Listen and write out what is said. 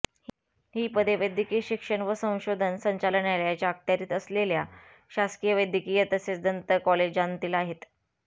ही पदे वैद्यकीय शिक्षण व संशोधन संचालनालयाच्या अखत्यारित असलेल्या शासकीय वैद्यकीय तसेच दंत कॉलेजांतील आहेत